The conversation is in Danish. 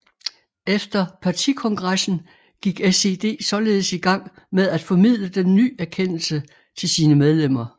Efter partikongressen gik SED således i gang med at formidle den ny erkendelse til sine medlemmer